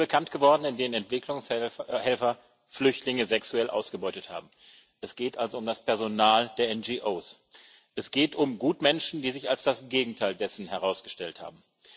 Es sind Fälle bekannt geworden, in den Entwicklungshelfer Flüchtlinge sexuell ausgebeutet haben es geht also um das Personal der NGOs. Es geht um Gutmenschen, die sich als das Gegenteil dessen herausgestellt haben.